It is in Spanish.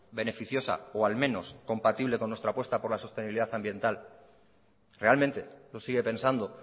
beneficiosa o al menos compatible con nuestra apuesta por la sostenibilidad ambiental realmente lo sigue pensando